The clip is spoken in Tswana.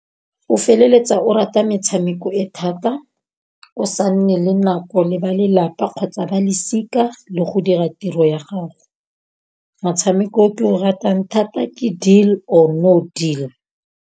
O feleletsa o rata metshameko e thata, o sa nne le nako le ba lelapa kgotsa ba lesika le go dira tiro ya gago. Motshameko o ke o ratang thata ke deal or no deal.